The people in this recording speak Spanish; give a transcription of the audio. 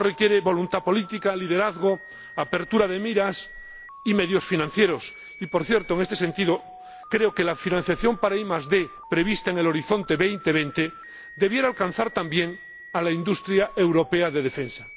Esto requiere voluntad política, liderazgo, apertura de miras y medios financieros, y, por cierto, en este sentido, creo que la financiación para ID prevista en el Horizonte 2020 debería alcanzar también a la industria europea de defensa.